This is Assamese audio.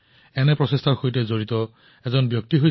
তেনে এক স্বচ্ছগ্ৰহী হৈছে চন্দ্ৰকিশোৰ পাটিলজী